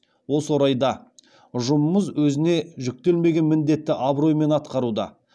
осы орайда ұжымымыз өзіне жүктелмеген міндетті абыроймен атқаруда